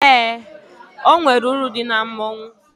Eé, o nwere uru dị na mmọnwụ.